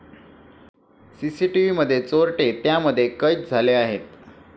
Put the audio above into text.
सीसीटीव्हीमध्ये चोरटे त्यामध्ये कैद झाले आहेत.